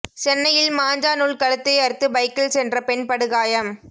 சென்னையில் மாஞ்சா நூல் கழுத்தை அறுத்து பைக்கில் சென்ற பெண் படுகாயம்